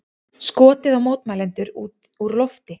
Skotið á mótmælendur úr lofti